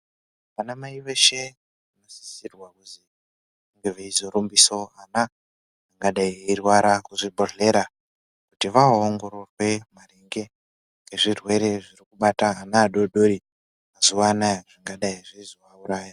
Ana mai veshe vanosisirwa kuti vange vaizorapisawo mwana angadai airwara muzvibhedhlera, kuti voongororwa ngezvirwere zvirikubata ana adoko mazuva anaya zvingadai zvaizomuuraya .